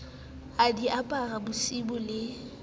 a di apara bosiu le